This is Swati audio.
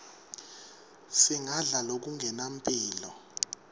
singadla lokungenampilo